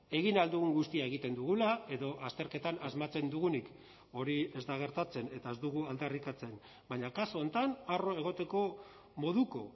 egin ahal dugun guztia egiten dugula edo azterketan asmatzen dugunik hori ez da gertatzen eta ez dugu aldarrikatzen baina kasu honetan harro egoteko moduko